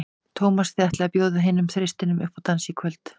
Tómas, þið ætlið að bjóða hinum þristinum upp í dans í kvöld?